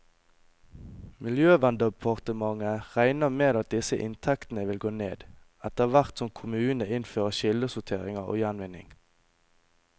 Miljøverndepartementet regner med at disse inntektene vil gå ned, etterhvert som kommunene innfører kildesortering og gjenvinning.